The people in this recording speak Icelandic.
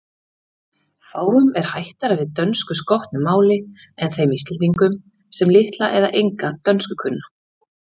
Fáum er hættara við dönskuskotnu máli en þeim Íslendingum, sem litla eða enga dönsku kunna.